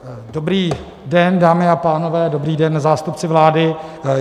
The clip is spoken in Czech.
Dobrý den, dámy a pánové, dobrý den, zástupci vlády.